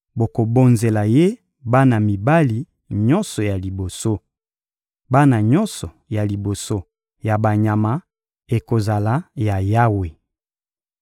bokobonzela Ye bana mibali nyonso ya liboso: bana nyonso ya liboso ya banyama ekozala ya Yawe.